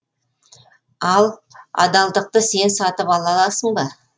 ал адалдықты сен сатып ала аласың ба